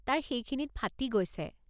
তাৰ সেইখিনিত ফাটি গৈছে।